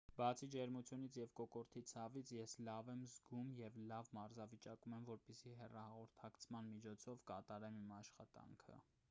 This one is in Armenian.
բացի ջերմությունից և կոկորդի ցավից ես լավ եմ զգում և լավ մարզավիճակում եմ որպեսզի հեռահաղորդակցման միջոցով կատարեմ իմ աշխատանքը